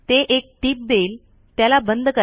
ते एक टीप देईल त्याला बंद करा